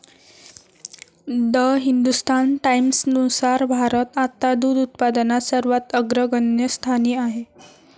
The Hindustan टाईम्सनुसार भारत आता दूध उत्पादनात सर्वात अग्रगण्य स्थानी आहे.